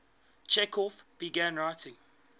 chekhov began writing